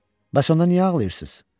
Bəs onda niyə ağlayırsız?